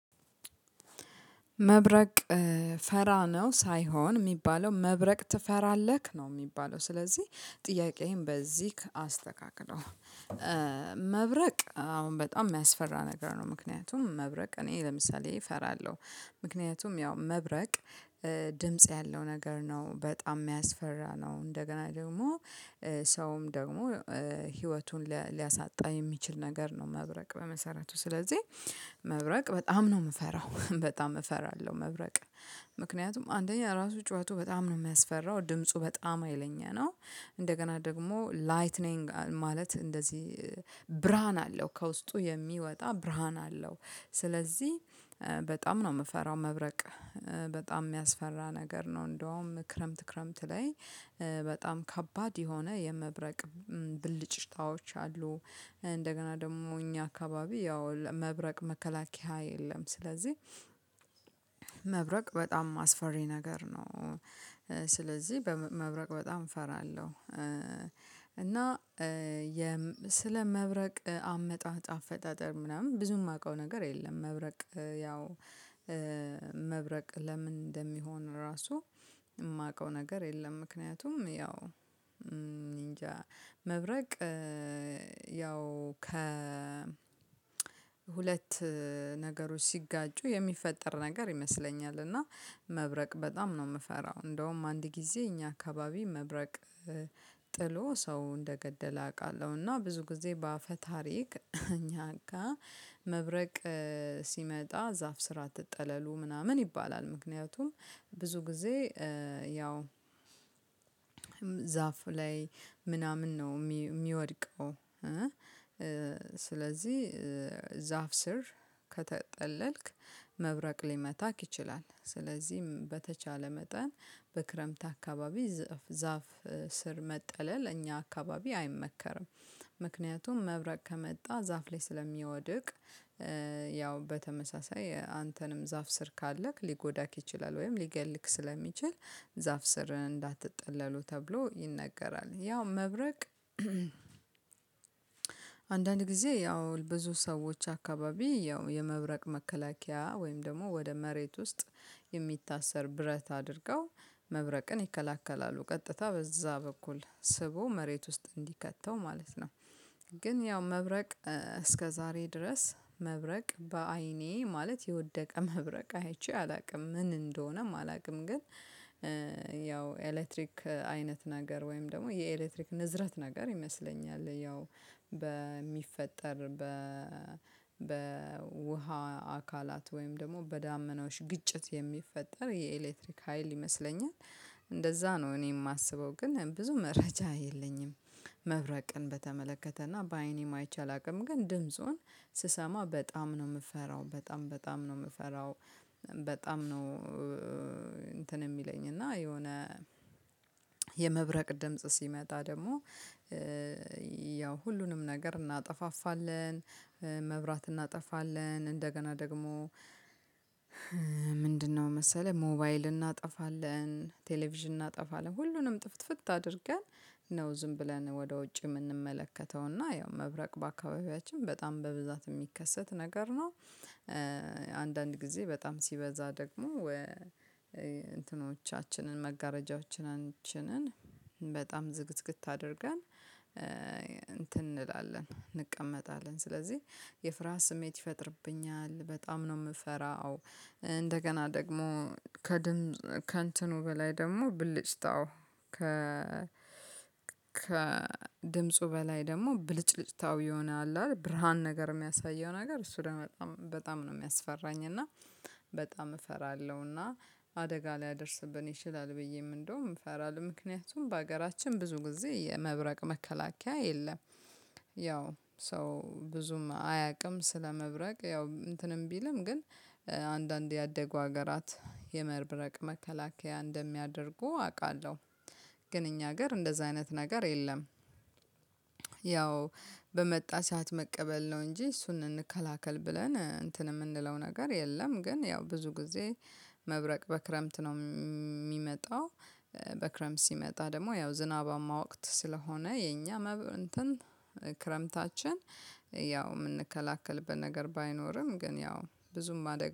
መብረቅ ፈራ ነው ሳይሆን የሚባለው መብረቅ ትፈራለህ? ነው የሚባለው ስለዚህ ጥያቄህን በዚህ አስተካክለው። መብረቅ አዎ በጣም የሚያስፈራ ነገር ነው። ምክንያቱም መብረቅ እኔ ለምሳሌ እፈራለሁ ምክንያቱም ያው መብረቅ ድምጽ ያለው ነገር ነው በጣም የሚያስፈራ ነው። እንደገና ደግሞ ሰውም ደግሞ ህይወቱን ሊያሳጣ የሚችል ነገር ነው። መብረቅ በመሰረቱ ስለዚህ መብረቅ በጣም ነው የምፈራው በጣም እፈራለሁ። መብረቅ ምክንያቱም አንደኛ ራሱ ጩኸቱ በጣም ነው የሚያስፈራው ድምፁ በጣም ሀይለኛ ነው። እንደገና ደግሞ ላይትኒንግ ማለት እንደዚህ ብርሃን አለው ከውስጡ የሚወጣ ብርሃን አለው። ስለዚህ በጣም ነው የምፈራው መብረቅ በጣም የሚያስፈራ ነገር ነው። እንደውም ክረምት ክረምት ላይ በጣም ከባድ የሆነ የመብረቅ ብልጭታዎች አሉ። እንደገና ደግሞ እኛ አካባቢ ያው መብረቅ መከላከያ የለም ስለዚህ መብረቅ በጣም አስፈሪ ነገር ነው። ስለዚህ መብረቅ በጣም እፈራለሁ። እና ስለ መብረቅ አመጣጥ አፈጣጠር ምናምን ብዙ የማውቀው ነገር የለም። መብረቅ ያው መብረቅ ለምን እንደሚሆን ራሱ የማውቀው ነገር የለም። ምክንያቱም ያው እንጃ መብረቅ ያው ሁለት ነገሮች ሲጋጩ የሚፈጠር ነገር ይመስለኛል። እና መብረቅ በጣም ነው የምፈራው እንደውም አንድ ጊዜ እኛ አካባቢ መብረቅ ጥሎ ሰው እንደገደለ አውቃለሁ። እና ብዙ ጊዜ በአፈ ታሪክ እኛ ጋር መብረቅ ሲመጣ ዛፍ ስራ አትጠለሉ ምናምን ይባላል። ምክንያቱም ብዙ ጊዜ ያው ዛፍ ላይ ምናምን ነው የሚወድቀው። ስለዚህ ዛፍ ስር ከተጠለልክ መብረቅ ሊመታክ ይችላል። ስለዚህም በተቻለ መጠን በክረምት አካባቢ ዛፍ ስር መጠለል እኛ አካባቢ አይመከርም። ምክንያቱም መብረቅ ከመጣ ዛፍ ላይ ስለሚወድቅ ያው በተመሳሳይ አንተንም ዛፍ ስር ካለክ ሊጎዳክ ይችላል ወይም ሊገልክ ስለሚችል ዛፍ ስር እንዳትጠለሉ ተብሎ ይነገራል። ያው መብረቅ አንዳንድ ጊዜ ያው ብዙ ሰዎች አካባቢ ያው የመብረቅ መከላከያ ወይም ደግሞ ወደ መሬት ውስጥ የሚታሰር ብረት አድርገው መብረቅን ይከላከላሉ ቀጥታ በዛ በኩል ስቦ መሬት ውስጥ እንዲከተው ማለት ነው። ግን ያው መብረቅ እስከ ዛሬ ድረስ መብረቅ በአይኔ ማለት የወደቀ መብረቅ አይቼ አላውቅም ምን እንደሆነም አላውቅም። ግን ያው ኤሌክትሪክ አይነት ነገር ወይም ደግሞ የኤሌክትሪክ ንዝረት ነገር ይመስለኛል። ያው በሚፈጠር በውሃ አካላት ወይም ደግሞ በዳመናዎች ግጭት የሚፈጠር የኤሌክትሪክ ሀይል ይመስለኛል። እንደዛ ነው እኔ የማስበው ግን ብዙ መረጃ የለኝም። መብረቅን በተመለከተና በአይኔም አይቼ አላውቅም ግን ድምጹን ስሰማ በጣም ነው የምፈራው። በጣም በጣም ነው የምፈራው በጣም ነው። እንትን የሚለኝ እና የሆነ የመብረቅ ድምጽ ሲመጣ ደግሞ ያው ሁሉንም ነገር እናጠፋፋለን። መብራት እናጠፋለን እንደገና ደግሞ ምንድነው መሰለህ ሞባይል እናጠፋለን ቴሌቪዥን እናጠፋለን ሁሉንም ጥፍትፍት አድርገን ነው ዝም ብለን ወደ ውጭ የምንመለከተውና ያው መብረቅ በአካባቢያችን በጣም በብዛት የሚከሰት ነገር ነው። አንዳንድ ጊዜ በጣም ሲበዛ ደግሞ እንትኖቻችንን መጋረጃዎቻችንን በጣም ዝግትግት አድርገን እንትን እንላለን እንቀመጣለን ስለዚህ የፍርሃት ስሜት ይፈጥርብኛል። በጣም ነው የምፈራው። እንደገና ደግሞ ከድምጽ ከእንትኑ በላይ ደግሞ ብልጭታው ከድምፁ በላይ ደግሞ ብልጭልጭታው የሆነ አለ አ ብርሃን ነገር የሚያሳየው ነገር እሱ ደግሞ በጣም በጣም ነው የሚያስፈራኝ። እና በጣም እፈራለሁ። እና አደጋ ሊያደርስብን ይችላል ብዬም እንደውም እፈራለሁ። ምክንያቱም በሀገራችን ብዙ ጊዜ የመብረቅ መከላከያ የለም። ያው ሰው ብዙም አያውቅም ስለመብረቅ ያው እንትንም ቢልም ግን አንዳንድ ያደጉ ሀገራት የመብረቅ መከላከያ እንደሚያደርጉ አውቃለሁ። ግን እኛ ሀገር እንደዚህ አይነት ነገር የለም። ያው በመጣ ሰዓት መቀበል ነው እንጂ እሱን እንከላከል ብለን እንትን የምንለው ነገር የለም። ግን ያው ብዙ ጊዜ መብረቅ በክረምት ነው የሚመጣው። በክረምት ሲመጣ ደግሞ ያው ዝናባማ ወቅት ስለሆነ የኛ እንትን ክረምታችን ያው የምንከላከልበት ነገር ባይኖርም ግን ያው ብዙም አደጋ